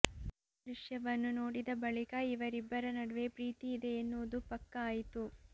ಈ ದೃಶ್ಯವನ್ನು ನೋಡಿದ ಬಳಿಕ ಇವರಿಬ್ಬರ ನಡುವೆ ಪ್ರೀತಿ ಇದೆ ಎನ್ನುವುದು ಪಕ್ಕಾ ಆಯಿತು